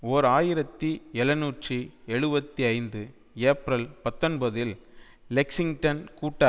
ஓர் ஆயிரத்தி எழுநூற்று எழுபத்து ஐந்து ஏப்ரல் பத்தொன்பதில் லெக்சிங்டன் கூட்ட